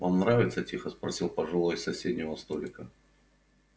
вам нравится тихо спросил пожилой с соседнего столика